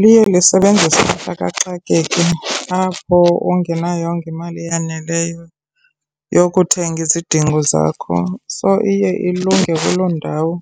Liye lisebenzise likaxakeka apho ungenayongo imali eyaneleyo yokuthenga izidingo zakho. So, iye ilunge kuloo ndawo